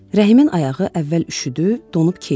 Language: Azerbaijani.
Rəhimin ayağı əvvəl üşüdü, donub keyidi.